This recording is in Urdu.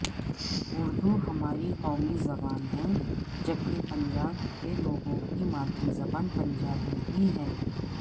اردو ہماری قومی زبان ہے جبکہ پنجاب کے لوگوں کی مادری زبان پنجابی ہی ہے